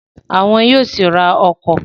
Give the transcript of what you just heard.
Àwọn yóò sì ra ọkọ̀